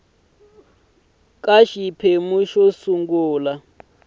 ka xiphemu xo sungula xa